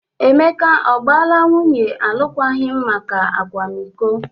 Emeka ọ gbaala nwunye alụkwaghịm maka akwamiko?